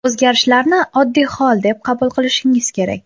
o‘zgarishlarni oddiy hol deb qabul qilishingiz kerak.